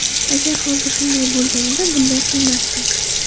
Agar hozir shunday bo‘lganida bunday qilmasdim.